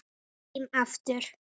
Heim aftur